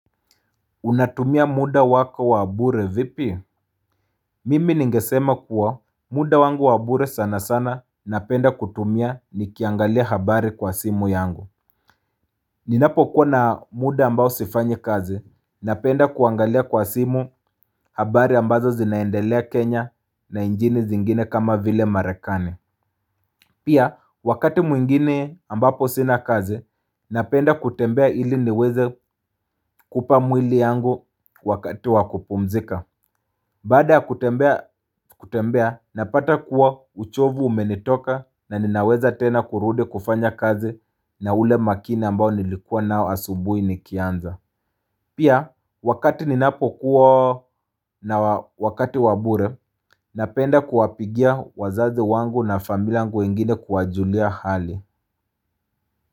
Unatumia muda wako wabure vipi? Mimi ningesema kuwa muda wangu wabure sana sana napenda kutumia nikiangalia habari kwa simu yangu. Ninapo kuwa na muda ambao sifanyi kazi napenda kuangalia kwa simu habari ambazo zinaendelea Kenya na njini zingine kama vile marekane. Pia wakati mwingine ambapo sina kazi napenda kutembea ili niweze kupa mwili yangu wakati wakupumzika. Baada kutembea napata kuwa uchovu umenitoka na ninaweza tena kurudi kufanya kazi na ule makina mbao nilikua nao asubui niki anza Pia wakati ninapo kuwa na wakati wabure napenda kuwapigia wazazi wangu na familia wengine kuwajulia hali.